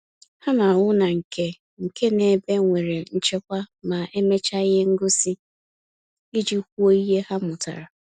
Ha na-ahụ na nke nke na ebe nwere nchekwa ma emecha ihe ngosi, iji kwuo ihe ha mụtara